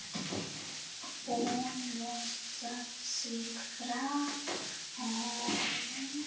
Hún losar sig frá honum.